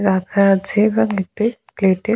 রাখা আছে এবং একটি প্লেট এ--